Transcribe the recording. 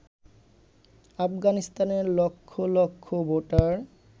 আফগানিস্তানের লক্ষ লক্ষ ভোটার